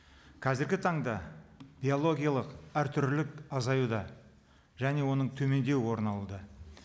қазіргі таңда биологиялық әртүрлі азаюда және оның төмендеуі орын алуда